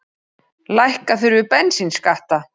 Lækka þurfi bensínskatta